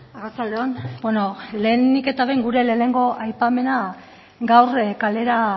arratsalde on bueno lehenik eta behin gure lehenengo aipamena gaur kalera